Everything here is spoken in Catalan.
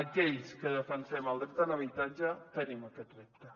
aquells que defensem el dret a l’habitatge tenim aquest repte